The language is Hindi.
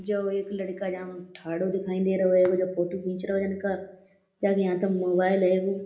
जो एक लड़का जहां में थाडों दिखाई देरों हेगो जो फ़ोटो खीच रो हेगो जन का। जाके हाथ में मोबाइल हेगो।